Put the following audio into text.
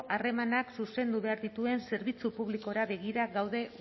harremanak zuzendu behar dituen zerbitzu publikora begira daude